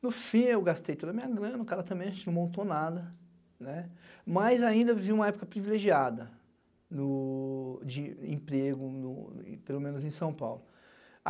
No fim, eu gastei toda a minha grana, o cara também não montou nada, mas ainda vivi uma época privilegiada de emprego, pelo menos em São Paulo.